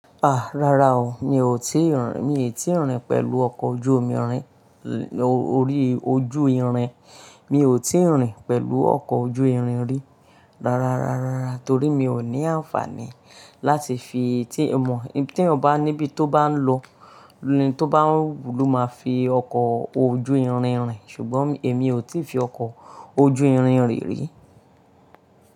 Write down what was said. Àá, rárá o. Mi ò tí ì rìn, mi ò tí ì rìn pẹ̀lú ọkọ̀ ojú omi rìn, orí ojú irin. Mi ò tí ì rìn pẹ̀lú ọkọ̀ ojú irin rí. Rárá rárá rárá, torí mí ó ní àǹfàní láti fi, ó mọ ibi téèyàn bá ní ibi tó o bá ń lọ, ní to bá wùn lọ má fi ọkọ̀ ojú irin rìn. Ṣùgbọ́n èmi ò tí fi ọkọ̀ ojú irin rìn rí.